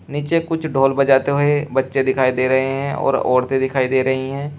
नीचे कुछ ढोल बजाते हुए बच्चे दिखाई दे रहे हैं और औरतें दिखाई दे रही हैं।